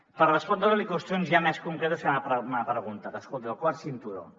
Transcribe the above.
per respondre li qüestions ja més concretes que m’ha preguntat escolti el quart cinturó